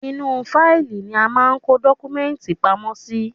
Inú u fáìlì ni a máa ń kó dọ́kúmẹ́ǹtì pamọ́ sí.